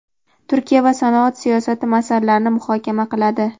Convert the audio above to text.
Turkiya va sanoat siyosati masalalarini muhokama qiladi.